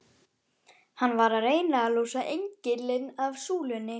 Hann var að reyna að losa engilinn af súlunni!